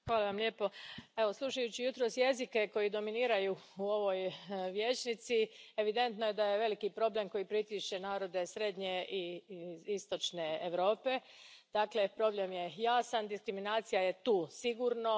Gospodine predsjedavajući, slušajući jutros jezike koji dominiraju u ovoj vijećnici, evidentno je da veliki problem pritišće narode srednje i istočne Europe. Dakle, problem je jasan, diskriminacija je tu sigurno.